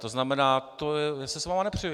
To znamená, já se s vámi nepřu.